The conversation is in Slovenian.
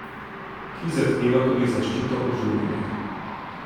Ki zahteva tudi zaščito ožuljenih.